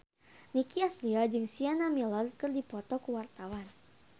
Nicky Astria jeung Sienna Miller keur dipoto ku wartawan